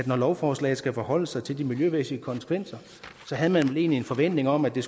når lovforslaget skal forholde sig til de miljømæssige konsekvenser havde man vel egentlig en forventning om at der